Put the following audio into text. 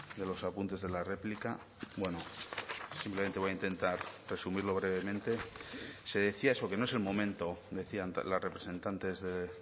de los apuntes de la réplica bueno simplemente voy a intentar resumirlo brevemente se decía eso que no es el momento decían las representantes de